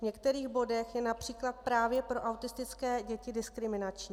V některých bodech je například právě pro autistické děti diskriminační.